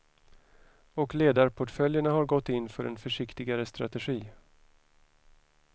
Och ledarportföljerna har gått in för en försiktigare strategi.